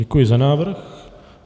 Děkuji za návrh.